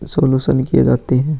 कुछ सोल्युशन किये जाते है।